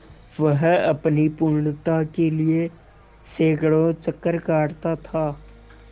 वह अपनी पूर्णता के लिए सैंकड़ों चक्कर काटता था